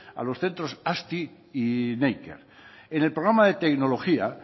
a los centros azti y neiker en el programa de tecnología